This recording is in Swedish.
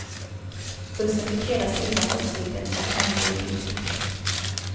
Bussen fick hela sidan uppsliten och hamnade i diket.